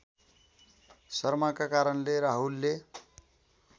शर्माका कारणले राहुलले